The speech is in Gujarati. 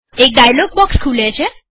એક ડાયલોગ બોક્ષ ખુલે છે